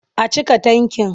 A cika tankin.